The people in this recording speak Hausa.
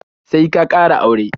Sai ka ƙara aure